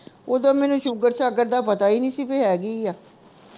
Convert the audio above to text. ਓਦੋਂ ਮੈਨੂੰ ਸ਼ੂਗਰ ਸ਼ਾਗਰ ਦਾ ਪਤਾ ਹੀ ਨਹੀਂ ਸੀ ਵੀ ਹੈਗੀ ਆ